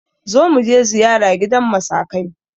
Zo muje ziyara gidan masakai!